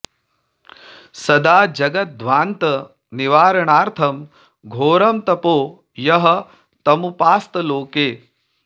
सदा जगद्ध्वान्त निवारणार्थं घोरं तपो यः तमुपास्त लोके